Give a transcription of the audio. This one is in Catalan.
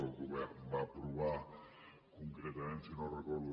el govern va aprovar concretament si no ho recordo